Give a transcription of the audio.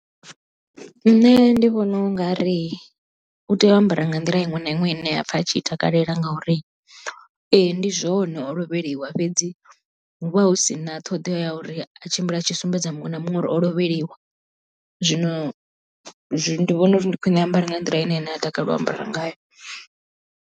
Nṋe ndi vhona u nga ri u tea u ambara nga nḓila iṅwe na iṅwe i ne a pfa a tshi takalela ngauri ee ndi zwone o lovheliwa fhedzi hu vha hu si na ṱhoḓea ya uri a tshimbile a tshi sumbedza muṅwe na muṅwe uri o lovheliwa zwino ndi vhona uri ndi khwine a ambare nga nḓila ine ene a takalela u ambara ngayo.